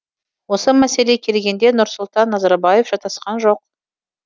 осы мәселеге келгенде нұрсұлтан назарбаев шатасқан жоқ